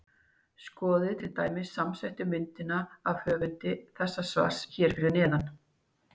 Skoðið til dæmis samsettu myndina af höfundi þessa svars hér fyrir neðan.